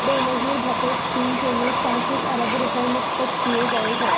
Benazir Bhutto scheme کے لیے چونتیس ارب روپے مختص کیے گئے ہیں